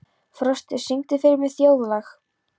Frosti, syngdu fyrir mig „Þjóðlag“.